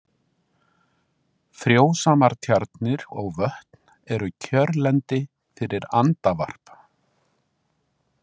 Frjósamar tjarnir og vötn eru kjörlendi fyrir andavarp.